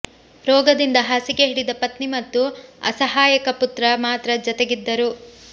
ರೋಗದಿಂದ ಹಾಸಿಗೆ ಹಿಡಿದ ಪತ್ನಿ ಮತ್ತು ಅಸಹಾಯಕ ಪುತ್ರ ಮಾತ್ರ ಜತೆಗಿದ್ದರು